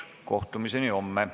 Kohtumiseni homme.